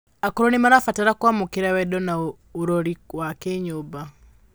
Akũrũ nimarabatara kuamukira wendo na urori wa kinyumba